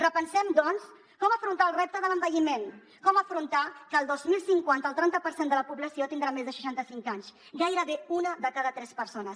repensem doncs com afrontar el repte de l’envelliment com afrontar que el dos mil cinquanta el trenta per cent de la població tindrà més de seixanta cinc anys gairebé una de cada tres persones